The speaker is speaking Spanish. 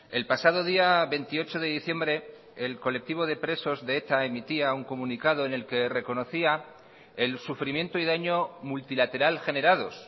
el pasado día veintiocho de diciembre el colectivo de presos de eta emitía un comunicado en el que reconocía el sufrimiento y daño multilateral generados